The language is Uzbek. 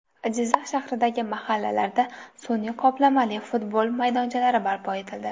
Jizzax shahridagi mahallalarda sun’iy qoplamali futbol maydonchalari barpo etildi.